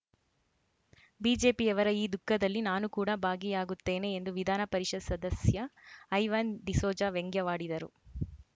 ಬಿಜೆಪಿಯವರ ಈ ದುಃಖದಲ್ಲಿ ನಾನು ಕೂಡ ಭಾಗಿಯಾಗುತ್ತೇನೆ ಎಂದು ವಿಧಾನ ಪರಿಷತ್‌ ಸದಸ್ಯ ಐವನ್‌ ಡಿಸೋಜಾ ವ್ಯಂಗ್ಯವಾಡಿದರು